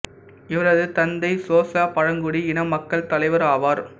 இவரது தந்தை சோசா பழங்குடி இன மக்கள் தலைவர் ஆவார்